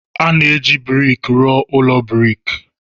A na-eji brik rụọ ụlọ brik.